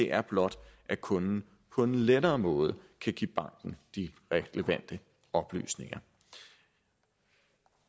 er blot at kunden på en lettere måde kan give banken de relevante oplysninger